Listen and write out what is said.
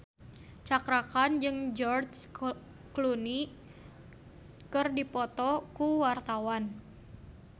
Cakra Khan jeung George Clooney keur dipoto ku wartawan